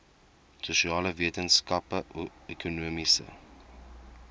sosiale wetenskappe ekonomiese